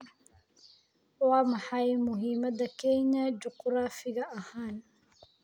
Waa maxay muhiimada Kenya juqraafi ahaan?